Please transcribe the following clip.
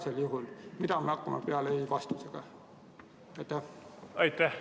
Ka praegu, mida me hakkame peale ei‑vastusega?